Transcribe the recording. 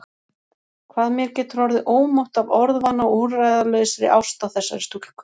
Hvað mér getur orðið ómótt af orðvana og úrræðalausri ást á þessari stúlku!